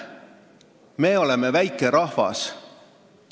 Me oleme väikerahvas.